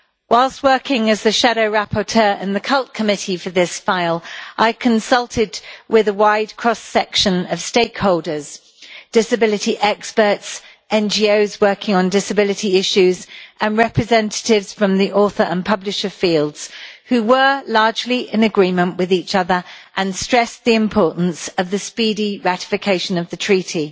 Whilst working as the shadow rapporteur in the Committee on Culture and Education for this file, I consulted with a wide cross section of stakeholders disability experts, NGOs working on disability issues and representatives from the author and publisher fields, who were largely in agreement with each other and stressed the importance of the speedy ratification of the treaty.